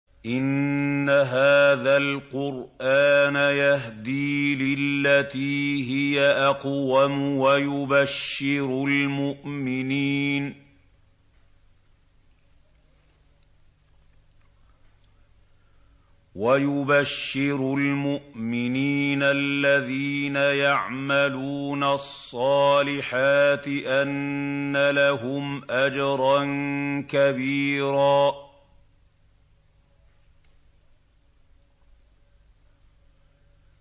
إِنَّ هَٰذَا الْقُرْآنَ يَهْدِي لِلَّتِي هِيَ أَقْوَمُ وَيُبَشِّرُ الْمُؤْمِنِينَ الَّذِينَ يَعْمَلُونَ الصَّالِحَاتِ أَنَّ لَهُمْ أَجْرًا كَبِيرًا